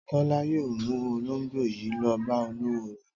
Tọ́lá yóò mú olóńgbò yìí lọ bá olówó rẹ̀.